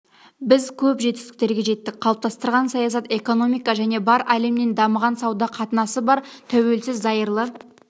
біз көп жетістіктерге жеттік қалыптастырған саясат экономика және бар әлеммен дамыған сауда қатынасыбар тәуелсіз зайырлы